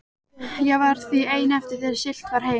Ég varð því einn eftir þegar siglt var heim.